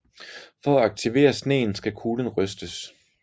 For at aktivere sneen skal kuglen rystes